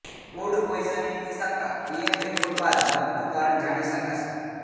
food પોઇઝનિંગની શંકા ઃ પીએમ રિપોર્ટ બાદ મોતનું કારણ જાણી શકાશે